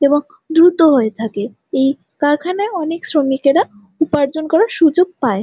এবং দূরত্ব হয়ে থাকে এই কারখানায় অনেক শ্রমিকেরা উপার্জন করার সুযোগ পায়।